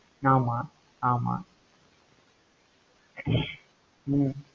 ஆமா, ஆமா ஹம்